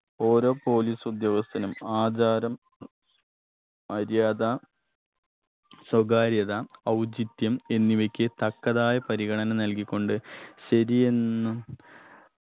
ഓരോ police ഉദ്യോഗസ്ഥനും ആധാരം മര്യാദ സ്വകാര്യത ഔചിത്യം എന്നിവയ്ക്ക് തക്കതായ പരിഗണന നൽകിക്കൊണ്ട് ശരിയെന്ന്